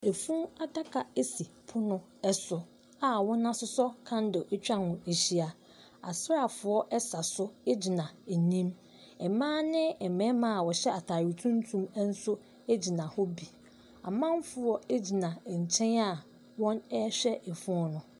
Ɛfun adaka asi pon no ɛso a wɔn asosɔ kandle atwa ho ahyia. Asraafo ɛsa so agyina anim. Mmaa ne mmɛma a wohyɛ ataare tuntum ɛnso agyina hɔ bi. Amanfoɔ agyina ɛnkyɛn a wɔhwɛ ɛfunu no.